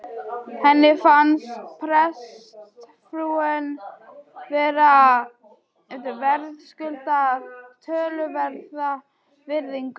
Henni fannst prestsfrúin verðskulda töluverða virðingu.